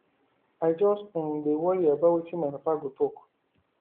i just um dey worry about wetin my papa go talk